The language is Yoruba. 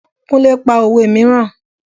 Kúnlẹ́ pa òwe mìíràn.